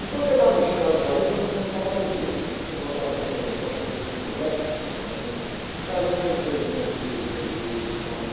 Enquanto ele estava mexendo lá no garimpo, eu ficava, juntava pedrinhas, assim, botava dentro daquele negócio que vem de picolé, aquela, e ficava juntando pedrinhas, vermelha e tal, né?